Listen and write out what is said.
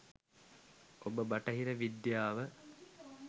ඔබ බටහිර විද්‍යාව